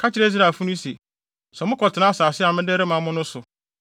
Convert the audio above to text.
“Ka kyerɛ Israelfo no se, ‘Sɛ mokɔtena asase a mede rema mo no so